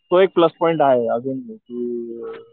तो एक plus point आहे